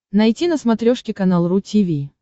найти на смотрешке канал ру ти ви